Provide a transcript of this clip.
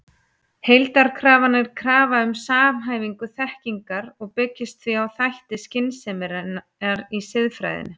Heildarkrafan er krafa um samhæfingu þekkingar og byggist því á þætti skynseminnar í siðfræðinni.